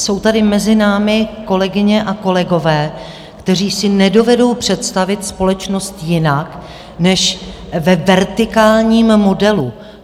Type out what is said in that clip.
Jsou tady mezi námi kolegyně a kolegové, kteří si nedovedou představit společnost jinak než ve vertikálním modelu.